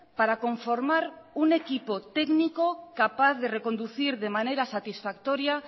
para conformar un equipo técnico capaz de reconducir de manera satisfactoria